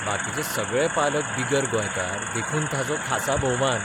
बाकीचे सगळे पालक बिगर गोंयकार देखून ताचो खासा भोवमान.